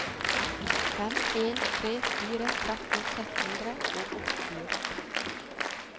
fem en tre fire tretten seks hundre og åttiåtte